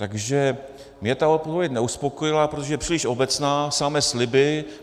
Takže mě ta odpověď neuspokojila, protože je příliš obecná, samé sliby.